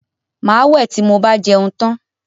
Màá wẹ̀ tí mo bá jẹun tán